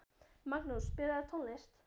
Magnús, spilaðu tónlist.